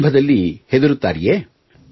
ಆರಂಭದಲ್ಲಿ ಹೆದರುತ್ತಾರೆಯೇ